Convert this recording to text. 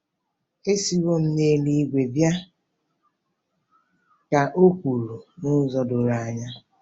“Esiwo m n’eluigwe bịa ,” ka o kwuru n’ụzọ doro anya.